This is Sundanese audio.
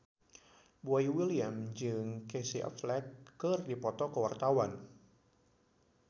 Boy William jeung Casey Affleck keur dipoto ku wartawan